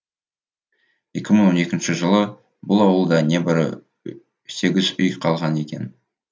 екі мың он екінші жылы бұл ауылда небәрі сегіз үй қалған екен